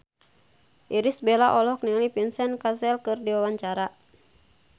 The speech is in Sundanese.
Irish Bella olohok ningali Vincent Cassel keur diwawancara